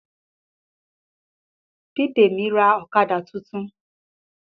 Bidemi ra ọ̀kadà titun